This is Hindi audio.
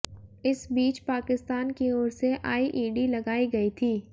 इस बीच पाकिस्तान की ओर से आईईडी लगाई गई थी